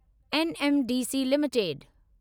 NMDC limited